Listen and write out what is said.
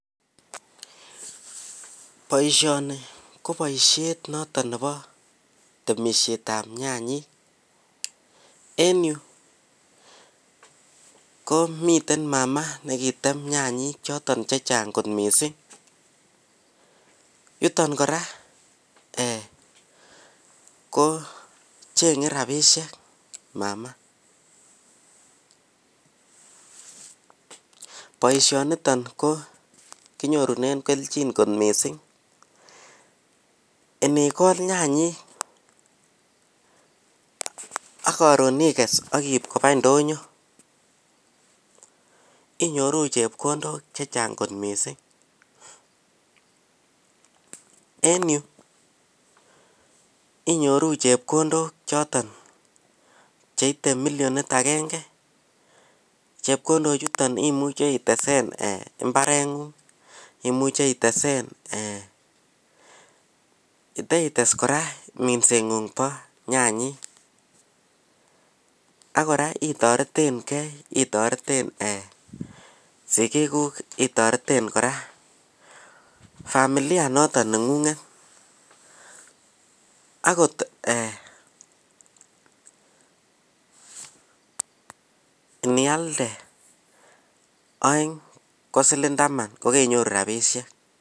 Boishoni koboishet noton nebo boishetab nyanyik en yu komiten mama nekitem nyanyik choton chechang kot missing' yuton koraa ee kochene rabishek ee mama boishoniton kenyorunen keljin kot missing' inikol nyanyik ak koron ikes ak iibkobas ndonyo inyoru chepkondok chechang kot missing' en yu inyoru chepkondok chotin cheite millionit agenge chepkindochuton imuche itesen imbarengung imuche itesen ee iteitesen minsengung bo nyanyik ak koraa itoretengee itoreten ee sigikuk itoreten koraa familia noton nengunget akot ee inislde oeng kosiling taman kokeinyoru rabishek.